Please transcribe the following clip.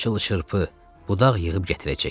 Çılı-çırpı, budaq yığıb gətirəcəyik.